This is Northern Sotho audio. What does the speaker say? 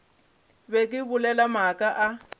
be ke bolela maaka a